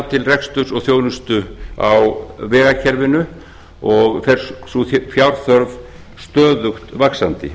til reksturs og þjónustu á vegakerfinu og fer sú fjárþörf stöðugt vaxandi